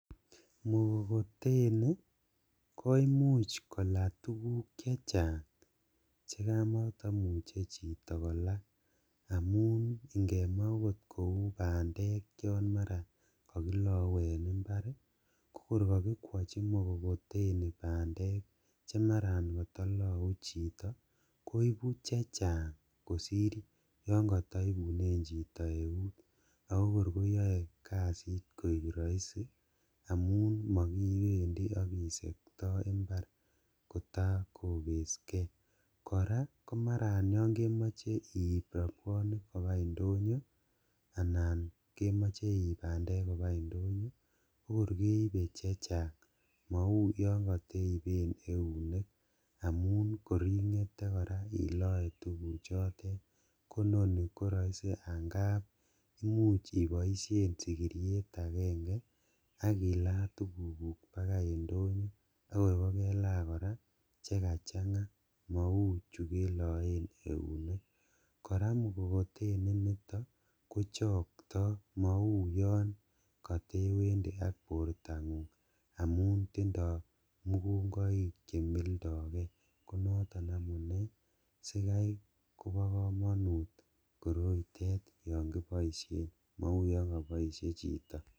Mkokoteni koimuch kola tuguk che chang che kamataimuche chito kola amun ingemwa agot kou bandek chon mara kakilau en ibar kokor kakikwachi mkokoteni bandek chemara katalau chito koibu chechang kosir yon kataibunen chito eut ago kor koyae kasit koek raisi amun makibendi ak kisekta imbar kotai kokeske. Kora komara yon kemoche iip rabwonik kopa indonyo anan kemoche iip bandek kopa indonyo kokor keibe chechang mau yon kateipen eunek amun koringete kora iloe tuguchotet. Koinoni koraisi angab imuch iboisien sigiriet agenge ak ila tugukuk pakai indonyo akor kokelaa kora che kachanga mau chukeloen eunek. Kora mkokoteni inito kochokto mauyon katewendi ak bortangung amun tindo mugungoik che mildoge. Konoton amune sigai kobo kamanut koroito yon mildo ge mau yon kabaisie chito.